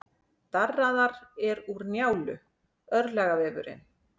Darraðar er úr Njálu, örlagavefurinn.